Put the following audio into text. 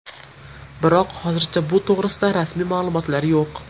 Biroq hozircha bu to‘g‘rida rasmiy ma’lumotlar yo‘q.